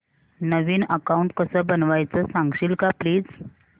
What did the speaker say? नवीन account कसं बनवायचं सांगशील का प्लीज